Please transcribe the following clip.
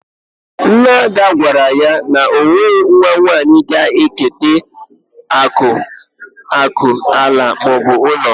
Nna Ada gwara ya na o nweghị nwa ya nwanyị ga eketa akụ ala maọbụ ụlọ